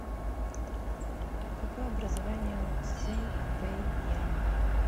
какое образование у цзэн пэйянь